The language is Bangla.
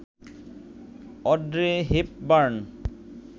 Audrey Hepburn